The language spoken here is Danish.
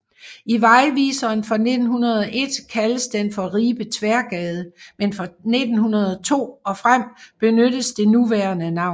I vejviseren fra 1901 kaldes den for Ribe Tværgade men fra 1902 og frem benyttes det nuværende navn